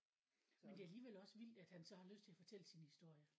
Men det er alligevel også vildt at han så har lyst at fortælle sin historie